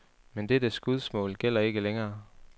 Men dette skudsmål gælder ikke længere.